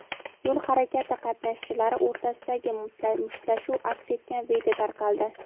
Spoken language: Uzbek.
yo‘l harakati qatnashchilari o‘rtasidagi mushtlashuv aks etgan video tarqaldi.